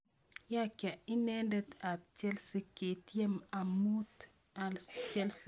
Yakia nitindet ab Chelsea, kiatiem amut Chelsea.